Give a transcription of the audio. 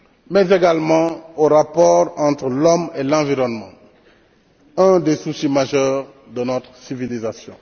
mais également aux rapports entre l'homme et l'environnement, un des soucis majeurs de notre civilisation.